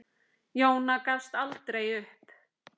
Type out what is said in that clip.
Jóna gafst aldrei upp.